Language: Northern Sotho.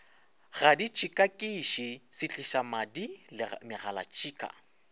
ga ditšhikakiši setlišamadi le megalatšhika